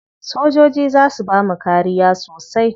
Sojoji za su bamu kariya sosai.